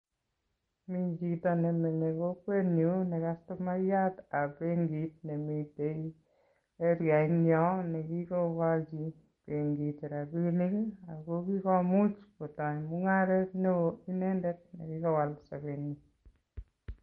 Mi chito nemenye kokwenyun ne kastomayatab benkit nemitei arianyon ne kikokochin benkit rapinik ak kikomuch kotai mungaret neo inendet ne kikowal sobenyin.